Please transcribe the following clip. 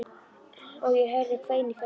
Og ég heyrði kvein í fjarska.